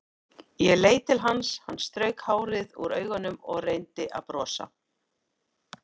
Ég leit til hans, hann strauk hárið úr augunum og reyndi að brosa.